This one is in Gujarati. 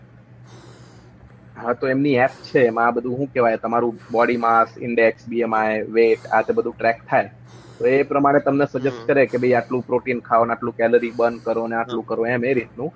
હા તો એમની એપ છે માં આ બધું હું કેહવાય તમારું body mass index bmi weight આ બધું ટ્રેક થાય તો એ પ્રમાણે તમને સુગસ્ત કરે કે ભાઈ આટલું પ્રોટીન ખાઓ ને આટલું કેલેરી બર્ન કરો ને આટલું કરો